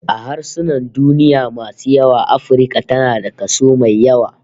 A harsunan duniya masu yawa Afirka tana da kaso mai yawa